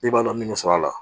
I b'a dɔn min sɔrɔ a la